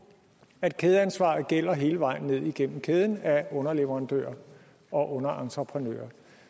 at kædeansvaret gælder hele vejen ned igennem kæden af underleverandører og underentreprenører